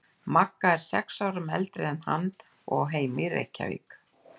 Magga er sex árum eldri en hann og á heima í Reykjavík.